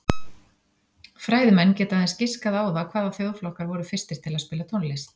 Fræðimenn geta aðeins giskað á það hvaða þjóðflokkar voru fyrstir til að spila tónlist.